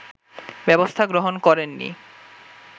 ব্যবস্থা গ্রহণ করেননি